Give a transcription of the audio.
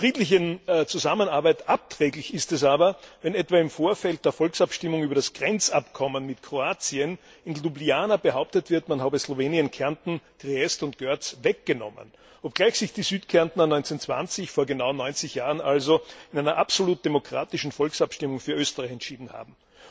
Der friedlichen Zusammenarbeit abträglich ist es aber, wenn etwa im Vorfeld der Volksabstimmung über das Grenzabkommen mit Kroatien in Ljubljana behauptet wird, man habe Slowenien Kärnten, Triest und Görz weggenommen, obgleich sich die Südkärntner 1920, vor genau 90 Jahren also, in einer absolut demokratischen Volksabstimmung für Österreich entschieden haben.